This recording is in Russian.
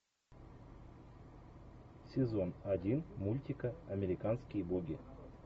сезон один мультика американские боги